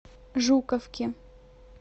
жуковке